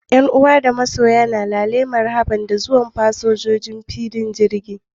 Ƴan uwa da masoya na lale marhabun cikin annushuwa da zuwan fasinjoji a ɗakin isowar matafiya na filin jirgi.